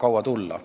kaua tulla.